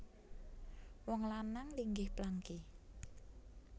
Wong lanang linggih plangki